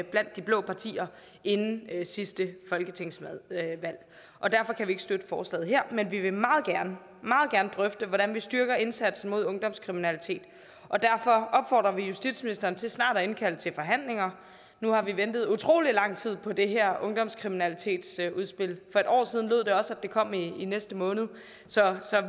blandt de blå partier inden sidste folketingsvalg og derfor kan vi ikke støtte forslaget her men vi vil meget gerne drøfte hvordan vi styrker indsatsen mod ungdomskriminalitet og derfor opfordrer vi justitsministeren til snart at indkalde til forhandlinger nu har vi ventet utrolig lang tid på det her ungdomskriminalitetsudspil for et år siden lød det også at det kom i i næste måned så